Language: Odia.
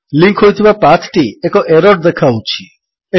ଲିଙ୍କ୍ ହୋଇଥିବା ପାଥ୍ ଟି ଏକ ଏରର୍ ଦେଖାଉଛି160